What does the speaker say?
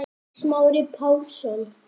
Smári Pálsson